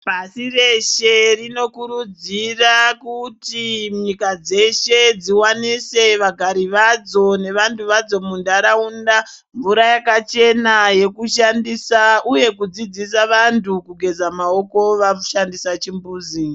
Pashireshe rinokurudzira kuti nyika dzeshe dziwanise vagari vadzo nevantu vadzo muntaraunda mvura yakachena yekushandisa, uye kudzidzisa vantu kugeza maoko vashandisa chimbuzi.